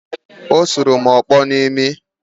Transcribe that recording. Ọ sụrụ m ọkpọ n’imi